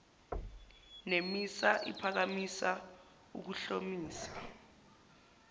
nemisa iphakamisa ukuhlomisa